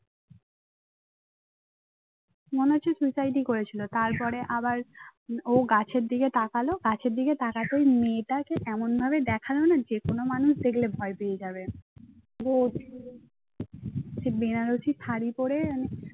মনে হচ্ছে suicide ই করেছিল তারপরে আবার ও গাছের দিকে তাকালো গাছের দিকে তাকাতেই মেয়েটাকে এমনভাবে দেখালো না যে কোন মানুষ দেখলে ভয় পেয়ে যাবে। সে বেনারসি শাড়ি পড়ে